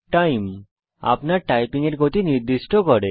time - আপনার typing গতি নির্দিষ্ট করে